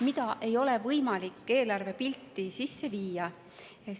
Seda ei ole võimalik eelarvepilti sisse viia.